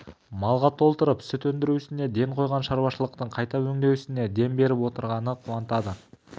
малға толтырып сүт өндіру ісіне ден қойған шаруашылықтың қайта өңдеу ісіне дем беріп отырғаны қуантады